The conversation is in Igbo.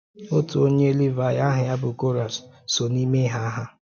Otu onye Levi aha ya bụ Kọrah so n’ime ha. ha.